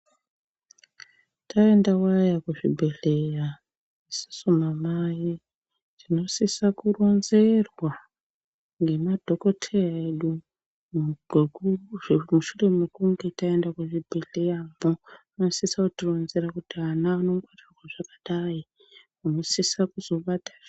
Taendawo kuzvibhedhlera isusu anamai tinosisa kuronzerwa ngemadhokodheya edu mushure mekunge taenda muzvibhedhleramo anosisa kuto ronzera kuti ana anobatwa zvakadai .